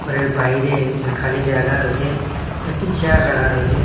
ঘরের বাইরে খালি জায়গা রইসে কয়েকটি চেয়ার রাখা রইসে।